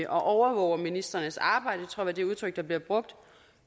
overvåger ministrenes arbejde tror var det udtryk der blev brugt